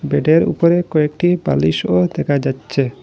বেডের উপরে কয়েকটি বালিশও দেখা যাচ্চে।